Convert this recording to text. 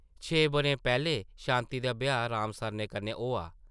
छे बʼरे पैह्लें शांति दा ब्याह् राम सरनै कन्नै होआ ।